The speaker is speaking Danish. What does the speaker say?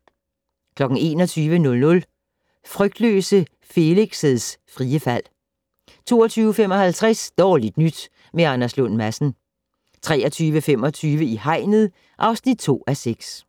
21:00: Frygtløse Felix' frie fald 22:55: Dårligt nyt med Anders Lund Madsen 23:25: I hegnet (2:6)